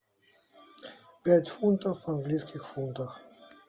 пять фунтов в английских фунтах